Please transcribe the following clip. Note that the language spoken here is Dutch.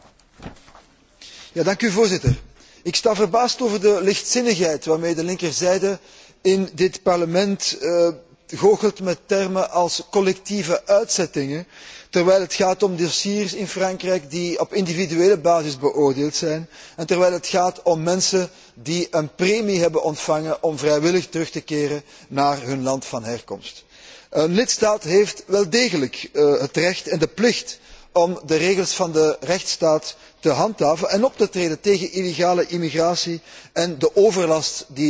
Voorzitter, ik sta verbaasd over de lichtzinnigheid waarmee de linkerzijde in dit Parlement goochelt met termen als collectieve uitzettingen, terwijl het gaat om dossiers in Frankrijk die op individuele basis beoordeeld zijn en terwijl het gaat om mensen die een premie hebben ontvangen om vrijwillig terug te keren naar hun land van herkomst. Een lidstaat heeft wel degelijk het recht en de plicht om de regels van de rechtsstaat te handhaven en op te treden tegen illegale immigratie en de overlast die daarmee gepaard gaat.